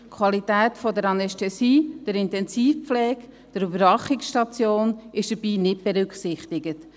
Die Qualität der Anästhesie, der Intensivpflege, der Überwachungsstation werden dabei nicht berücksichtigt.